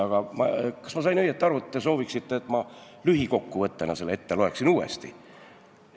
Aga kas ma sain õigesti aru, et te sooviksite, et ma lühikokkuvõttena selle uuesti ette loeksin?